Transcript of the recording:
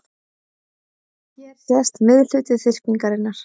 Hér sést miðhluti þyrpingarinnar.